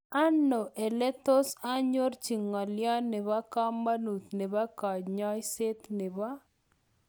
Anok oletos anyorchii ngolyoo neboo kamanuut nepo kanyaiset nepo.